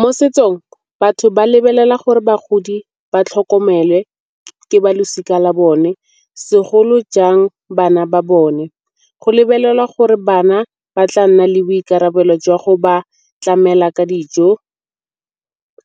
Mo setsong batho ba lebelela gore bagodi ba tlhokomele ke ba losika la bone segolo jang bana ba bone. Go lebelelwa gore bana ba tla nna le boikarabelo jwa go ba tlamela ka dijo,